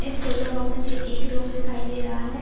इस फोटो मे मुझे एक रूम दिखाई दे रहा है।